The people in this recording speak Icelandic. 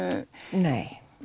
nei